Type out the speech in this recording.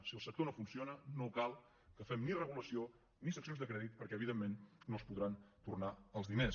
si el sector no funciona no cal que fem ni regulació ni seccions de crèdit perquè evidentment no es podran tornar els diners